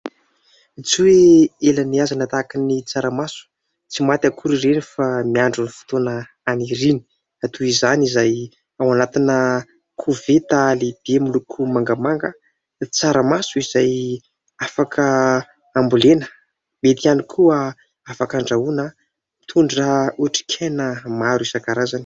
Tsy hoe ela nihahazana tahaky ny tsaramaso : tsy maty akory ireny fa miandry ny fotoana haniriany. Toy izany izay ao anatina koveta lehibe miloko mangamanga, tsaramaso izay afaka ambolena, mety ihany koa afaka andrahoina, mitondra otrik'aina maro isankarazany.